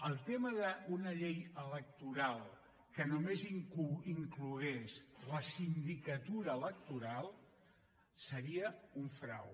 el tema d’una llei electoral que només inclogués la sindicatura electoral seria un frau